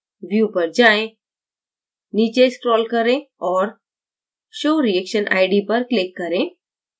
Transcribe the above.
view पर जाएँ नीचे scroll करें और show reaction id पर click करें